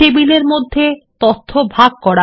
টেবিলের মধ্যে তথ্য ভাগ করা